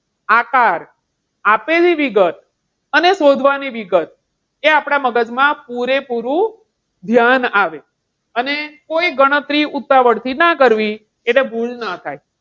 આકાર આપેલી વિગત, અને શોધવા ની વિગત એ આપણા મગજમાં પૂરેપૂરું ધ્યાન આવે અને કોઈ ગણતરી ઉતાવળથી ન કરવી, એટલે ભૂલ ન થાય.